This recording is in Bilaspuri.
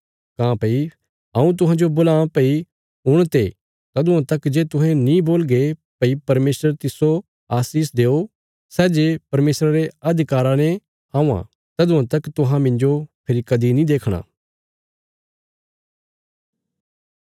काँह्भई हऊँ तुहांजो बोलां भई हुण ते तदुआं तक जे तुहें नीं बोलगे भई परमेशर तिस्सो आशीष देओ सै जे परमेशरा रे अधिकारा ने औंआं तदुआं तक तुहां मिन्जो फेरी कदीं नीं देखणा